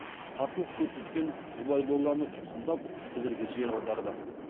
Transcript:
қарсылық көрсеткен ғұбайдолланы тұтқындап сібірге жер аударды